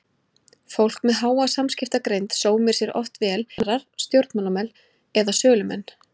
Fólk með háa samskiptagreind sómir sér oft vel sem kennarar, stjórnmálamenn eða sölumenn.